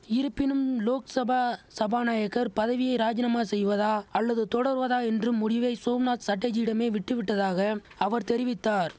இருப்பினும் லோக்சபா சபாநாயகர் பதவியை ராஜினாமா செய்வதா அல்லது தொடர்வதா என்று முடிவை சோம்நாத் சட்டர்ஜியிடமே விட்டுவிட்டதாக அவர் தெரிவித்தார்